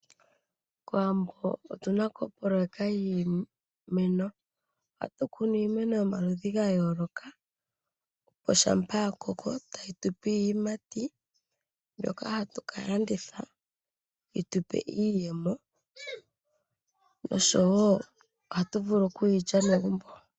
Kowambo otuna ko opolota yiimeno, hatu kunu iimeno yomaludhi gayooloka, shampa yakoko tayi tupe iiyimati mbyoka hatu kalanditha yitupe iiyemo noshowo ohatu vulu okuyilya megumbo.